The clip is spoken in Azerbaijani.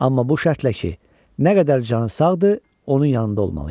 Amma bu şərtlə ki, nə qədər canı sağdır, onun yanında olmalıyam.